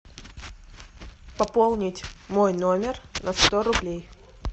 пополнить мой номер на сто рублей